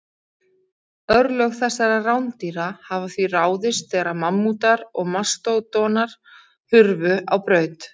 Örlög þessara rándýra hafa því ráðist þegar mammútar og mastódonar hurfu á braut.